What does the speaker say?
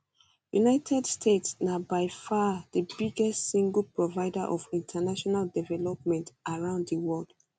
united states na by far di biggest single provider of international development around di world